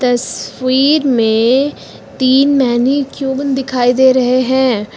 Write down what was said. तस्वीर में तीन मैनीक्यूविन दिखाई दे रहे हैं।